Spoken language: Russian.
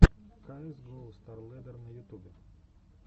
каэс гоу старлэддер на ютубе